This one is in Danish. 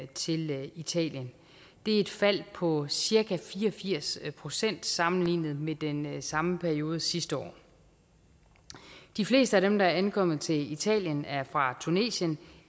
til italien det er et fald på cirka fire og firs procent sammenlignet med den samme periode sidste år de fleste af dem der ankommer til italien er fra tunesien